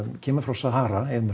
kemur frá Sahara eyðimörk